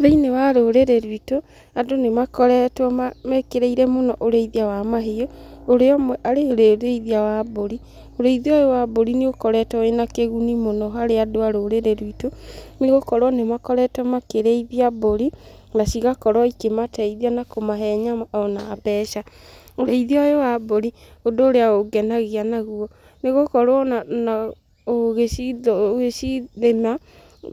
Thĩiniĩ wa rũrĩrĩ ruitũ, andũ nĩ makoretwo mekĩrĩire mũno ũrĩithia wa mahiũ, ũrĩa ũmwe arĩ ũrĩithia wa mbũri. Ũrĩithia ũyũ wa mbũri nĩ ũkoretwo wĩna kĩguni mũno harĩ andũ a rũrĩrĩ ruitũ, nĩ gũkorwo nĩ makoretwo makĩrĩithia mbũri nacigakorwo ikĩmateithia na kũmahe nyama ona mbeca. Ũrĩithia ũyũ wa mbũri ũndũ ũrĩa ũngenagia naguo nĩ gũkorwo ona, ũgĩcirĩma,